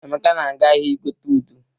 Emeka na-aga ahịa igote udu.